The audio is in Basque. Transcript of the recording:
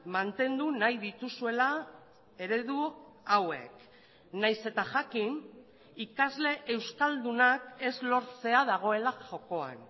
mantendu nahi dituzuela eredu hauek nahiz eta jakin ikasle euskaldunak ez lortzea dagoela jokoan